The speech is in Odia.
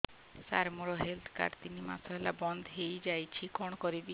ସାର ମୋର ହେଲ୍ଥ କାର୍ଡ ତିନି ମାସ ହେଲା ବନ୍ଦ ହେଇଯାଇଛି କଣ କରିବି